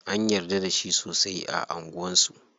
An yarda da shi sosai a anguwan su.